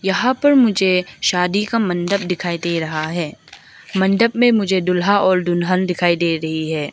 यहां पर मुझे शादी का मंडप दिखाई दे रहा है मंडप में मुझे दूल्हा और दुल्हन दिखाई दे रही है।